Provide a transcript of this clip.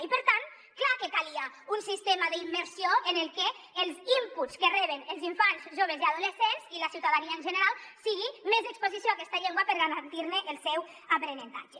i per tant clar que calia un sistema d’immersió en el que els inputs que reben els infants joves i adolescents i la ciutadania en general siguin més exposició a aquesta llengua per garantir ne el seu aprenentatge